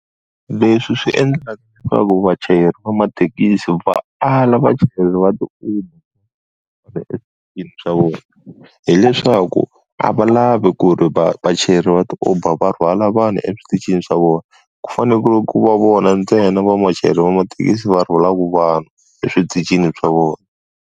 Leswi swi endlaka leswaku vachayeri va mathekisi va ala vachayeri va ti-uber swa vona, hileswaku a va lavi ku ri vachayeri va ti-uber va rhwala vanhu eswitichini swa vona, ku fanele ku va ku va vona ntsena vamachayeri va mathekisi va rhwalaka vanhu eswitichini swa vona.